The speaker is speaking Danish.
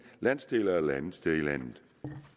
landsdel eller et andet sted i landet